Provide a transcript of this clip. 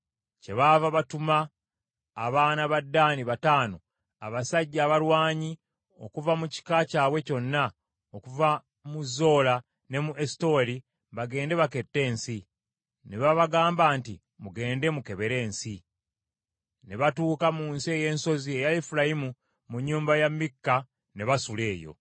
Kyebaava batuma abaana ba Ddaani bataano, abasajja abalwanyi, okuva mu kika kyabwe kyonna, okuva mu Zola ne mu Esutaoli, bagende bakette ensi. Ne babagamba nti, “Mugende mukebere ensi.” Ne batuuka mu nsi ey’ensozi eya Efulayimu mu nnyumba ya Mikka ne basula eyo.